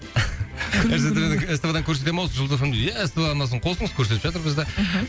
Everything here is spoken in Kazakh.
ств дан көрсете ме осы жұлдыз эф эм ді ия ств арнасын қосыңыз көрсетіп жатыр бізді мхм